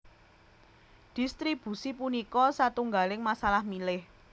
Dhistribusi punika satunggaling masalah milih